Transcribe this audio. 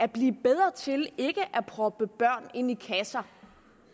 blive bedre til ikke at proppe børn ind i kasser